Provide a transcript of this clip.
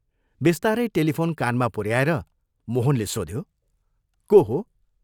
बिस्तारै टेलिफोन कानमा पुऱ्याएर मोहनले सोध्यो, " को हो?